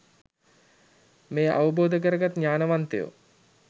මෙය අවබෝධ කරගත් ඥානවන්තයෝ